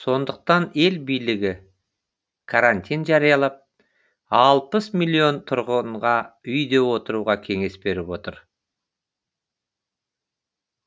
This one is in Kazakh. сондықтан ел билігі карантин жариялап алпыс милион тұрғынға үйде отыруға кеңес беріп отыр